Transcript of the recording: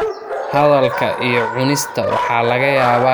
Hadalka iyo cunista waxa laga yaabaa inay adkaato marka afku saameeyo.